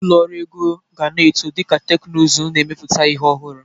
Ụlọ ọrụ ego ga na-eto dịka teknụzụ n'emepụta ihi ọhụrụ.